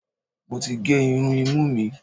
Mo ti gé irun imú mi.